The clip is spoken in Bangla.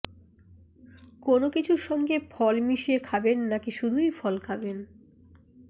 কোনও কিছুর সঙ্গে ফল মিশিয়ে খাবেন নাকি শুধুই ফল খাবেন